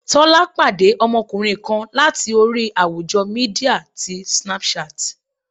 Tọ́lá pàdé ọmọkùnrin kan láti orí àwùjọ Mídíà ti Snapchat.